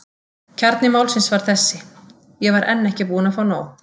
Kjarni málsins var þessi: Ég var enn ekki búinn að fá nóg.